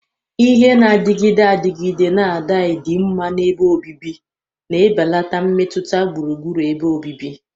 Ihe na-adịgide adịgide na dai dinma na ebe obibi, na-ebelata mmetụta gburugburu ebe obibi.